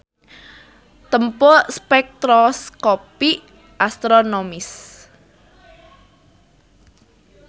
Tempo spektroskopi astronomis.